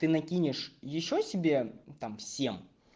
ты накинешь ещё себе там всем